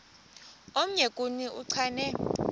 omnye kuni uchane